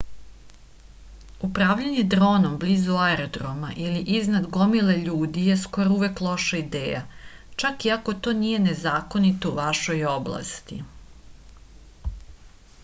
upravljanje dronom blizu aerodroma ili iznad gomile ljudi je skoro uvek loša ideja čak i ako to nije nezakonito u vašoj oblasti